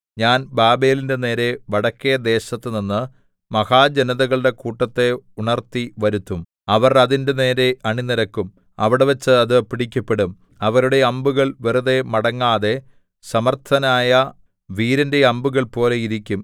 ഞാൻ ബാബേലിന്റെ നേരെ വടക്കെ ദേശത്തുനിന്ന് മഹാജനതകളുടെ കൂട്ടത്തെ ഉണർത്തി വരുത്തും അവർ അതിന്റെ നേരെ അണി നിരക്കും അവിടെവച്ച് അത് പിടിക്കപ്പെടും അവരുടെ അമ്പുകൾ വെറുതെ മടങ്ങാതെ സമർത്ഥനായ വീരന്റെ അമ്പുകൾ പോലെ ഇരിക്കും